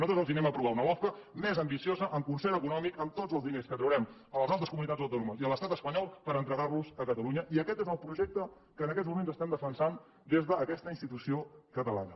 nosaltres els aprovarem una lofca més ambiciosa amb concert econòmic amb tots els diners que traurem a les altres comunitats autònomes i a l’estat espanyol per entregar los a catalunya i aquest és el projecte que en aquests moments estem defensant des d’aquesta institució catalana